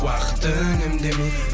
уақыт үнемдемей